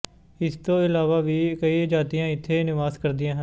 ਇਸ ਤੋਂ ਇਲਾਵਾ ਵੀ ਕਈ ਜਾਤੀਆਂ ਇੱਥੇ ਨਿਵਾਸ ਕਰਦਿਆਂ ਹਨ